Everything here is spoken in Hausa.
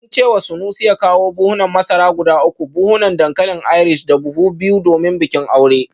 Sun ce wa Sanusi ya kawo buhunan masara guda uku, buhunan dankalin Irish da buhu biyu domin bikin aure